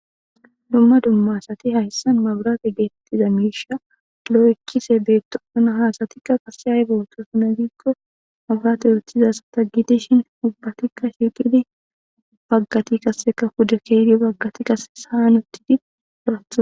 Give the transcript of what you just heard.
Dumma dumma asati hayssan mabrate geettiza miisha doloo7 ikkise beettouna haasatikka kase hay bowoto suna gikko mabraate yoththizasata gidishin ubbatikka shiiqidi baggati qasseka kuda keeydi baggati qasse sahan utti di raatha.